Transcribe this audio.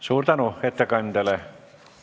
Suur tänu ettekandjale!